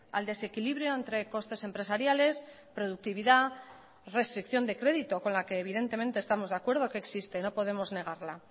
al desequilibrio entre costes empresariales productividad restricción de crédito con la que evidentemente estamos de acuerdo que existe no podemos negarla